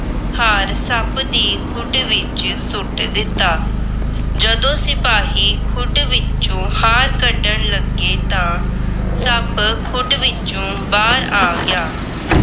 ਹਾਰ ਸੱਪ ਦੀ ਖੁੱਡ ਵਿੱਚ ਸੁੱਟ ਦਿੱਤਾ। ਜਦੋਂ ਸਿਪਾਹੀ ਖੁੱਡ ਵਿੱਚੋ ਹਾਰ ਕੱਢਣ ਲੱਗੇ ਤਾਂ ਸੱਪ ਖੁੱਡ ਵਿੱਚੋ ਬਾਹਰ ਆ ਗਿਆ।